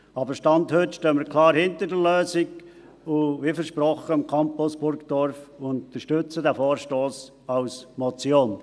Aber, Stand heute, stehen wir klar hinter der Lösung, wie dem Campus Burgdorf versprochen, und unterstützen den Vorstoss als Motion.